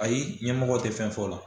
Ayi ɲɛmɔgɔ tɛ fɛn fɔ o la